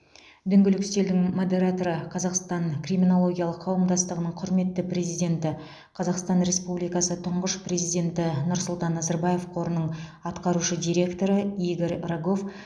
дөңгелек үстелдің модераторы қазақстан криминологиялық қауымдастығының құрметті президенті қазақстан республикасы тұңғыш президенті нұрсұлтан назарбаев қорының атқарушы директоры игорь рогов